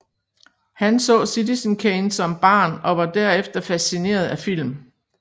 Han så Citizen Kane som barn og var derefter fascineret af film